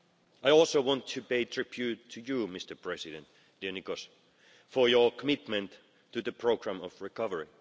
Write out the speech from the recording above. I also want to pay tribute to you, Mr President, dear Nicos, for your commitment to the programme of recovery.